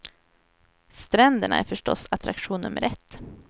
Stränderna är förstås attraktion nummer ett.